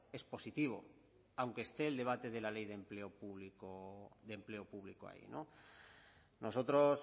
es positivo aunque esté el debate de la ley de empleo público ahí nosotros